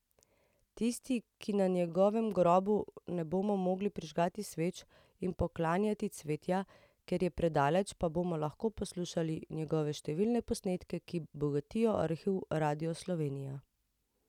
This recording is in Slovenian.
Tisti, ki na njegovem grobu ne bomo mogli prižigati sveč in poklanjati cvetja, ker je predaleč, pa bomo lahko poslušali njegove številne posnetke, ki bogatijo arhiv Radia Slovenija.